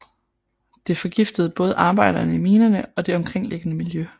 Det forgiftede både arbejderne i minerne og det omkringliggende miljø